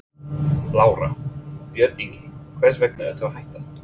Lára: Björn Ingi, hvers vegna ertu að hætta?